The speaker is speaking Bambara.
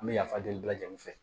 An bɛ yafa deli bɛɛ lajɛlen fɛ